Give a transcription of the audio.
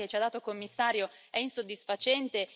La risposta che ci ha dato il Commissario è insoddisfacente.